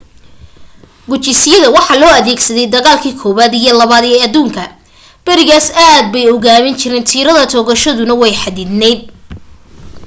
gujisyada waxa loo adeegsaday dagaalkii koobaad iyo labaad ee aduunka berigaas aad bay u gaabin jireen tiirada toogashadooduna way xaddidnayd